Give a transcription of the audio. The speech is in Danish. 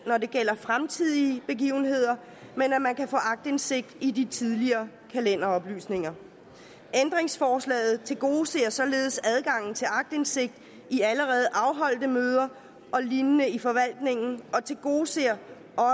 når det gælder fremtidige begivenheder men at man kan få aktindsigt i de tidligere kalenderoplysninger ændringsforslaget tilgodeser således adgangen til aktindsigt i allerede afholdte møder og lignende i forvaltningen og tilgodeser